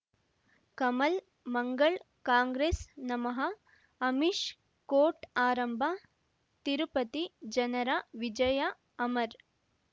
ಕಮಲ್ ಮಂಗಳ್ ಕಾಂಗ್ರೆಸ್ ನಮಃ ಅಮಿಷ್ ಕೋರ್ಟ್ ಆರಂಭ ತಿರುಪತಿ ಜನರ ವಿಜಯ ಅಮರ್